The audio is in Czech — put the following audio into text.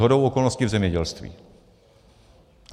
Shodou okolností v zemědělství.